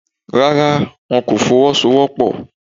Rárá, wọn kò Fọwọ́sowọ́pọ̀